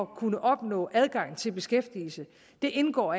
kunne opnå adgang til beskæftigelse indgår